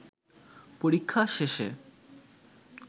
পরীক্ষা শেষে